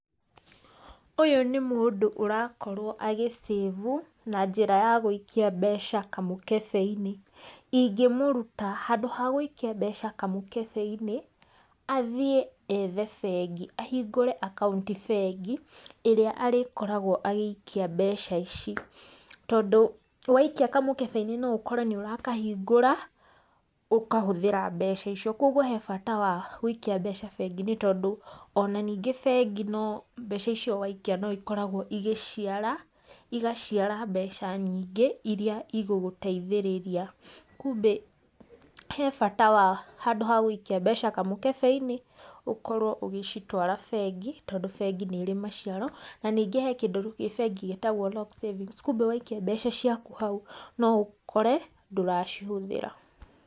Ũyũ nĩ mũndũ ũrakorwo agĩsĩvu, na njĩra ya gũikia mbeca kamũkebe-inĩ, ingĩmũruta handũ ha gũikia mbeca kamũkebe-inĩ, athiĩ ethe bengi, ahingũre akaunti bengi, ĩrĩa arĩkoragwo agĩikia mbeca ici, tondũ waikia kamũkebe-inĩ no ũkore nĩ ũrakahingũra, ũkahũthĩra mbeca icio, kogwo he bata wa gũikia mbeca bengi-inĩ tondũ ona ningĩ bengi no mbeca icio waikia no ikoragwo igĩciara, igaciara mbeca nyingĩ, irĩa igũgũteithĩrĩria, kumbĩ he bata wa handũ ha gũikia mbeca kamũkebe-inĩ, ũkorwo ũgĩcitwara bengi, tondũ bengĩ nĩ ĩrĩ maciaro, na ningĩ he kĩndũ gĩ bengi gĩtagwo locked savings kumbĩ waikia mbeca ciaku hau no ũkore ndũracihũthĩra.